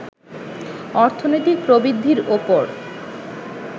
অর্থনৈতিক প্রবৃদ্ধির ওপর